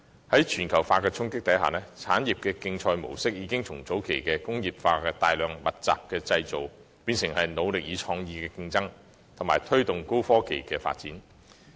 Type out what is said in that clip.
在全球化的衝擊下，產業競賽模式已由早期工業化的大量和密集式生產，演變成腦力與創意的競爭，藉以推動高科技的發展。